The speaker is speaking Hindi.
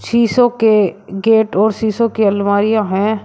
शीशों के गेट और शीशों के अलमारियां है।